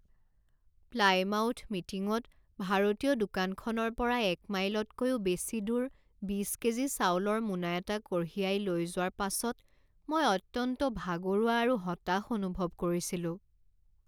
Plymouth মিটিংত ভাৰতীয় দোকানখনৰ পৰা এক মাইলতকৈও বেছি দূৰ বিছ কেজি চাউলৰ মোনা এটা কঢ়িয়াই লৈ যোৱাৰ পাছত মই অত্যন্ত ভাগৰুৱা আৰু হতাশ অনুভৱ কৰিছিলোঁ।